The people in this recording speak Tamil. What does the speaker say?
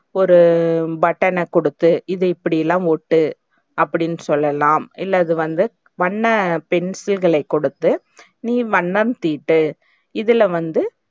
ஒரு button ன குடுத்து இது இப்டிலா ஒட்டு அப்டின்னு சொல்லலாம், இல்ல இது வந்து வண்ணப் பென்சில்களை கொடுத்து நீ வண்ணம் தீட்டு இதுல வந்து